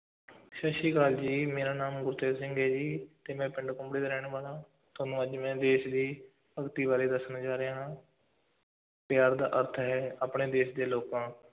ਸਤਿ ਸ੍ਰੀ ਅਕਾਲ ਜੀ, ਮੇਰਾ ਨਾਮ ਗੁਰਤੇਜ ਸਿੰਘ ਹੈ ਜੀ, ਤੇ ਮੈਂ ਪਿੰਡ ਕੁੰਬੜੇ ਦਾ ਰਹਿਣ ਵਾਲਾ ਹਾਂ, ਤੁਹਾਨੂੰ ਅੱਜ ਮੈਂ ਦੇਸ਼ ਦੀ ਭਗਤੀ ਬਾਰੇ ਦੱਸਣ ਜਾ ਰਿਹਾ ਹਾਂ ਪਿਆਰ ਦਾ ਅਰਥ ਹੈ, ਆਪਣੇ ਦੇਸ਼ ਦੇ ਲੋਕਾਂ,